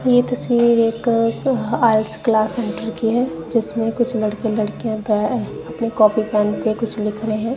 ये तस्वीर एक हाईएक्स क्लास सेंटर की है जिसमें कुछ लड़के लड़कियां पॅ अपने कॉपी पेन पे कुछ लिख रहे हैं।